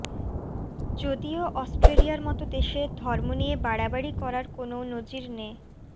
যদিও অস্ট্রেলিয়ার মত দেশে ধর্ম নিয়ে বাড়াবাড়ি করার কোনো নজির নে